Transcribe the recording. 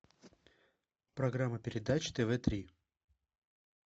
программа передач тв три